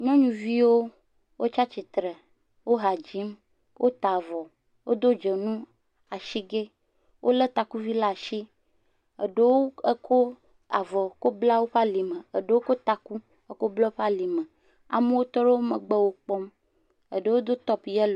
Nyɔnuviwo wotsi atsitre woha dzim wota avɔ wodo dzonu asigɛ wolé takuvi ɖe asi eɖewo kɔ avɔ kɔ bla woƒe alime amewo tɔ ɖe woƒe megbe wo kpɔm, eɖewo do yop yellow.